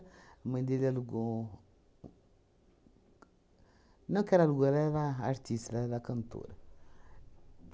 A mãe dele alugou... Não que ela alugou, ela era artista, ela era cantora.